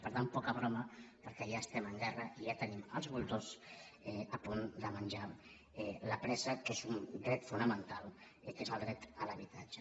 per tant poca broma perquè ja estem en guerra i ja tenim els voltors a punt de menjar la presa que és un dret fonamental que és el dret a l’habitatge